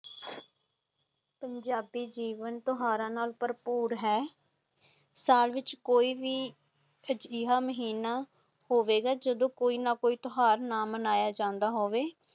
ਪੰਜਾਬੀ ਜੀਵਨ ਤੂਹਾਰਾ ਨਾਲ ਪਰਪੁਰ ਹੈ, ਸਾਲ ਵਿਚ ਕੋਈ ਵੀ ਅਜੇਹਾ ਮਹਿਣਾ ਹੋਵੇਗਾ ਜਾਦੋ ਕੋਈ ਨਾ ਕੋਈ ਤਿਓਹਾਰ ਨਾ ਮਨਾਇਆ ਜਾਂਦਾ ਹੋਵੇ।